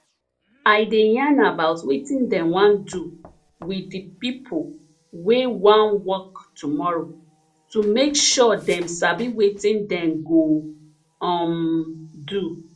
i dey yarn about wetin dem wan do with de pipo wey wan work tomorrow to make sure dem sabi wetin dem go um do